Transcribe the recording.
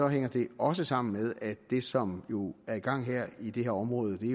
hænger det også sammen med at det som jo er i gang i det her område er